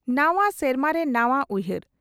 ᱱᱟᱣᱟ ᱥᱮᱨᱢᱟ ᱨᱮ ᱱᱟᱣᱟ ᱩᱭᱦᱟᱨ